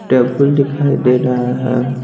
Table दिखाई दे रहा है।